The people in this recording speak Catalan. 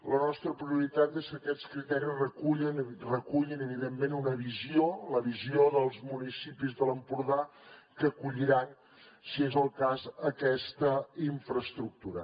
la nostra prioritat és que aquests criteris recullin evidentment una visió la visió dels municipis de l’empordà que acolliran si és el cas aquesta infraestructura